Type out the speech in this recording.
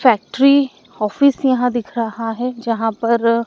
factory office यहां दिख रहा हैं जहां पर--